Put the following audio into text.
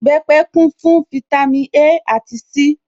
Ìbẹpẹ̀ kún fún fítámī A àti C